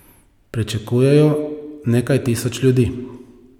Pričakujejo nekaj tisoč ljudi.